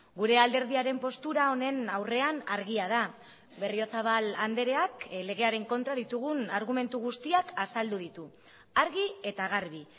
gure alderdiaren postura honen aurrean argia da berriozabal andreak legearen kontra ditugun argumentu guztiak azaldu ditu argi eta garbi